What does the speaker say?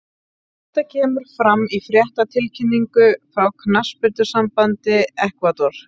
Þetta kemur fram í fréttatilkynningu frá knattspyrnusambandi Ekvador.